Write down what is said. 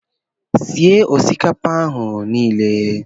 Sie osikapa ahụ niile.